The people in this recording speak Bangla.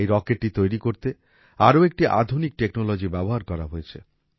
এই রকেটটি তৈরি করতে আরও একটি আধুনিক টেকনোলজি ব্যবহার করা হয়েছে